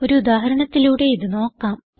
ഒരു ഉദാഹരണത്തിലൂടെ ഇത് നോക്കാം